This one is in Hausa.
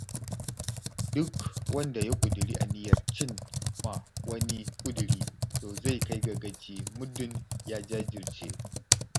Duk wanda ya ƙudiri aniyar cim ma wani ƙudiri, to zai kai gaci muddun ya jajirce.